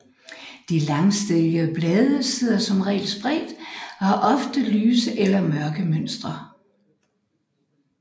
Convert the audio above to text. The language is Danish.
De langstilkede blade sidder som regel spredt og har ofte lyse eller mørke mønstre